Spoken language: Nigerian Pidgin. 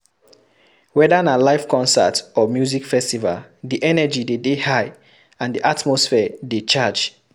Wether na live concert or music festival di energy de dey high and the atmosphere de charge